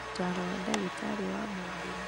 Ũtaaro wa ndagĩtarĩ wa mũũmbĩre